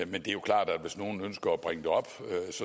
men det er klart at hvis nogen ønsker at bringe det op